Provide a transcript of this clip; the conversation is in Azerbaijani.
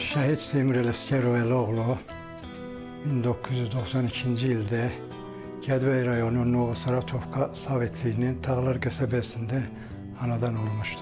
Şəhid Seymur Ələsgərov adlı oğul 1992-ci ildə Gədəbəy rayonunun Nurlu Sovetinin Dağlar qəsəbəsində anadan olmuşdur.